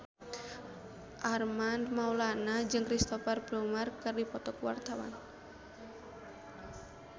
Armand Maulana jeung Cristhoper Plumer keur dipoto ku wartawan